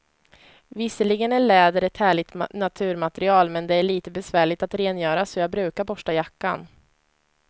Visserligen är läder ett härligt naturmaterial, men det är lite besvärligt att rengöra, så jag brukar borsta jackan.